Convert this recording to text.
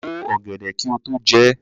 Bo ọ̀gẹ̀dẹ̀ kí o tó jẹ ẹ́!